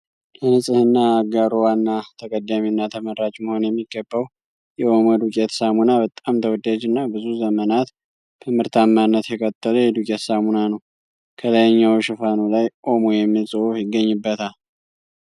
ለንጽህና አጋሮ ዋና ተቀዳሜና ተመራጭ መሆን የሚገባው የኦሞ ዱቄት ሳሙና በጣም ተወዳጅና ብዙ ዘመናት በምርታማነት የቀጠለ የዱቄት ሳሙና ነው። ከላይኛው ሽፋኑ ላይ ኦሞ የሚል ጽሁፍ ይገኝበታል።